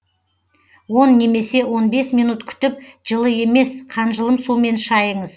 он немесе он бес минут күтіп жылы емес қанжылым сумен шайыңыз